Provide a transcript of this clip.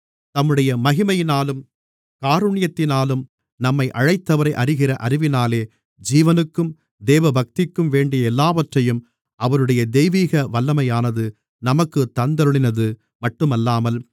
தம்முடைய மகிமையினாலும் காருணியத்தினாலும் நம்மை அழைத்தவரை அறிகிற அறிவினாலே ஜீவனுக்கும் தேவபக்திக்கும் வேண்டிய எல்லாவற்றையும் அவருடைய தெய்வீக வல்லமையானது நமக்குத் தந்தருளினது மட்டுமல்லாமல்